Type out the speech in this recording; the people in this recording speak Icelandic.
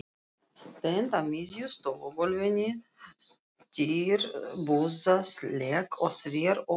Stend á miðju stofugólfinu, stirðbusaleg og sver, og öskra.